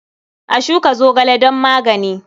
A shuka zogale don magani.